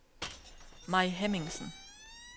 Mai Hemmingsen